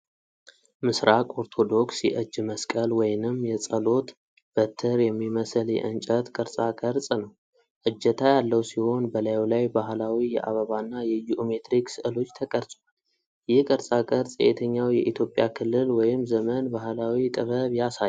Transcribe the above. ምስራቅ ኦርቶዶክስ የእጅ መስቀል ወይንም የጸሎት በትር የሚመስል የእንጨት ቅርጻቅርጽ ነው። እጀታ ያለው ሲሆን፣ በላዩ ላይ ባህላዊ የአበባና የጂኦሜትሪክ ስዕሎች ተቀርጸዋል። ይህ ቅርጻቅርጽ የየትኛው የኢትዮጵያ ክልል ወይም ዘመን ባህላዊ ጥበብ ያሳያል?